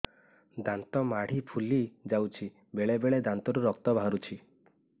ଦାନ୍ତ ମାଢ଼ି ଫୁଲି ଯାଉଛି ବେଳେବେଳେ ଦାନ୍ତରୁ ରକ୍ତ ବାହାରୁଛି